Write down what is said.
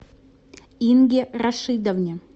инге рашидовне